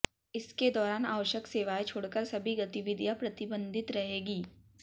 इसके दौरान आवश्यक सेवाएं छोड़कर सभी गतिविधियां प्रतिबंधित रहेंगी